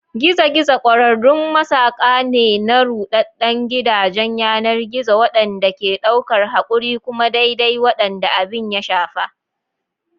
Gizo-gizo ƙwararrun masaƙa ne na ruɗaɗɗen gidajen yanar gizo waɗanda ke ɗaukar haƙuri kuma daidai waɗanda abin ya shafa.